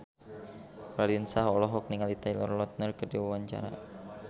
Raline Shah olohok ningali Taylor Lautner keur diwawancara